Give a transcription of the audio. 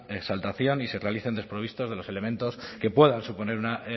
exaltación y se realicen desprovistos de los elementos que puedan suponer una